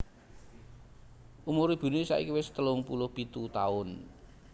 Umur ibuné saiki wis telung puluh pitu taun